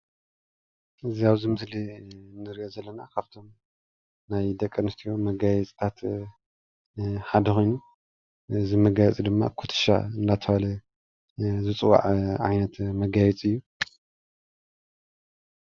እዚ ኣብዚ ምስሊ እንሪኦ ዘለና ካብቶም ናይ ደቂ ኣንስትዮ መጋየፅታት ሓደ ኮይኑ እዚ መጋየፂ ድማ ኩትሻ እናተባሃለ ዝፅዋዕ ዓይነት መጋየፂ እዩ፡፡